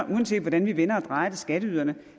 uanset hvordan vi vender og drejer skatteyderne